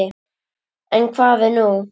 En hvað er nú?